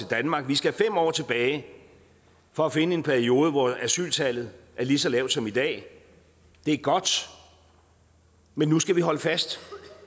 danmark vi skal fem år tilbage for at finde en periode hvor asyltallet er lige så lavt som i dag det er godt men nu skal vi holde fast